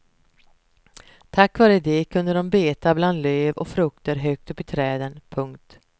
Tack vare det kunde de beta bland löv och frukter högt upp i träden. punkt